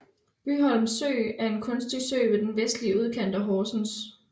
Bygholm Sø er en kunstig sø i den vestlige udkant af Horsens